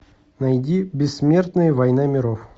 найди бессмертные война миров